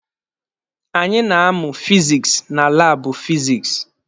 Anyị na-amụ fizikisi na laabụ fizikisi.